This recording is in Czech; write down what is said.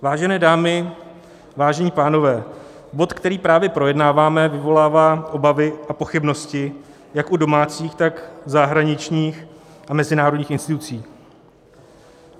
Vážené dámy, vážení pánové, bod, který právě projednáváme, vyvolává obavy a pochybnosti jak u domácích, tak zahraničních a mezinárodních institucí.